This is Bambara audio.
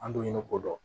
An dun ye ko dɔn